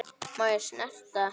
Má ég snerta?